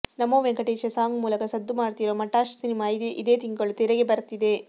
ನಮೋ Venkatesha song ಮೂಲಕ ಸದ್ದು ಮಾಡ್ತಿರೋ ಮಟಾಶ್ ಸಿನಿಮಾ ಇದೇ ತಿಂಗಳು ತೆರೆಗೆ ಬರ್ತಿದೆ